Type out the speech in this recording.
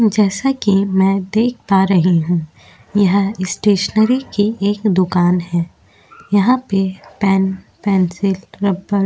जैसा कि मैं देख पा रही हूँ। यह स्टेशनरी की एक दुकान है। यहाँ पे पेन पेन्सिल रबर --